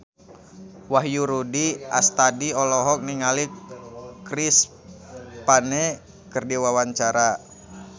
Wahyu Rudi Astadi olohok ningali Chris Pane keur diwawancara